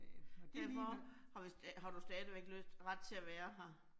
Øh og derfor har vi, har du stadigvæk lyst ret til at være her